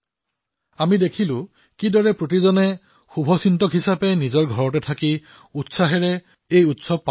আমি দেখা পাইছো যে জনসাধাৰণে ঘৰতে থাকি কিদৰে এই উৎসৱসমূহ পালন কৰিছে